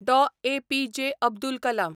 Dr. A P J. Abdul Kalam